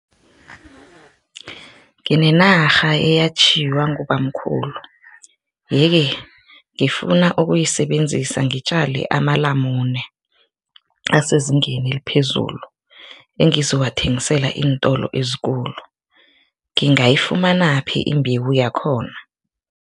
Nginenarha eyatjhiywa ngubamkhulu yeke, ngifuna ukuyisebenzisa ngitjale amalamune asezingeni eliphezulu engizowathengisela iintolo ezikulu, ngingayifumanaphi imbewu yakhona?